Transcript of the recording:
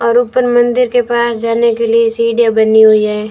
और ऊपर मंदिर के पास जाने के लिए सीढ़ियां बनी हुई हैं।